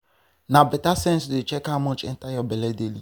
na better sense to dey check how much enter your belle daily.